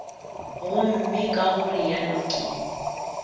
gomme ka go realo ke